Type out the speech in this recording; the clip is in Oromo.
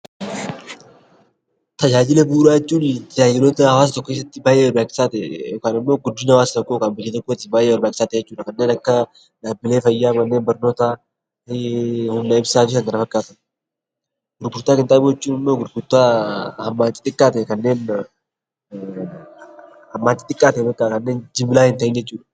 Tajaajila bu'uuraa jechuun tajaajila hawaasa tokko keessatti baay'ee barbaachisaa ta'e yookaan guddina hawaasa tokkootiif yookaan biyya tokkootiif baay'ee barbaachisaa ta'e kan akka dhaabbilee fayyaa, manneen barnootaa fa'i. Gurgurtaa qinxaaboo jechuun immoo gurgurtaa wantoota xixiqaa ta'e hammaan xixiqaa ta'e kan jimlaa hin ta'iin jechuudha.